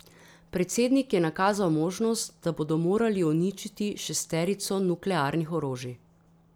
Predsednik je nakazal možnost, da bodo morali uničiti šesterico nuklearnih orožij.